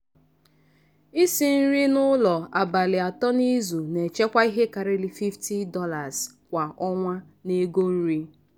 isi nri n'ụlọ abalị atọ n'izu na-echekwa ihe karịrị $50 kwa ọnwa n'ego nri.